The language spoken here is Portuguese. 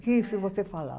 Que isso você falar?